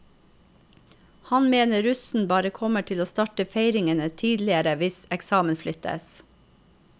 Han mener russen bare kommer til å starte feiringen tidligere hvis eksamen flyttes.